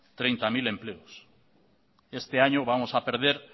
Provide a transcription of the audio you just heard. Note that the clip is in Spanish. treinta mil empleos este año vamos a perder